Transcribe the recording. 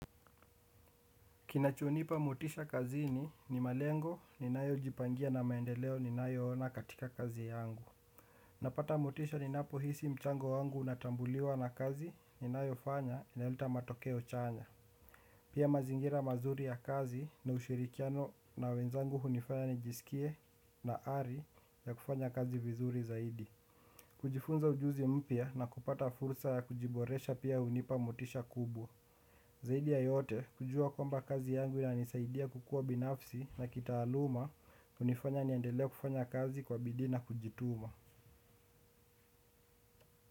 Kinachonipa mitisha kazini ni malengo ninayojipangia na maendeleo ninayoona katika kazi yangu. Napata motisha ninapo hisi mchango wangu unatambuliwa na kazi ninayofanya inaleta matokeo chanya. Pia mazingira mazuri ya kazi na ushirikiano na wenzangu hunifanya nijisikie na ari ya kufanya kazi vizuri zaidi. Kujifunza ujuzi mpya na kupata fursa ya kujiboresha pia hunipa motisha kubwa. Zaidi ya yote, kujua kwamba kazi yangu inanisaidia kukua binafsi na kitaaluma hunifanya niendelea kufanya kazi kwa bidii na kujituma.